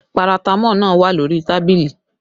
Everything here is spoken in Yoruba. Paratamọ́ọ̀ náà wà lórí tábìlì